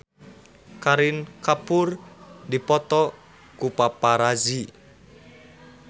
Kareena Kapoor dipoto ku paparazi